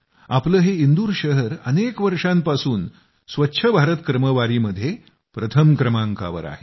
आपलं हे इंदूर शहर अनेक वर्षांपासून स्वच्छ भारत क्रमवारीमध्ये प्रथम क्रमांकावर आहे